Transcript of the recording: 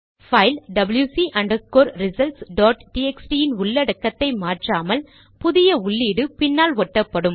file WC underscore results dot TXT இன் உள்ளடக்கத்தை மாற்றாமல் புதிய உள்ளீடு பின்னால் ஒட்டப்படும்